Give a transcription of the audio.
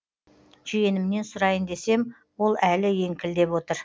жиенімнен сұрайын десем ол әлі еңкілдеп отыр